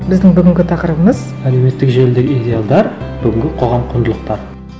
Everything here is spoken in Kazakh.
біздің бүгінгі тақырыбымыз әлеуметтік желідегі идеалдар бүгінгі қоғам құндылықтары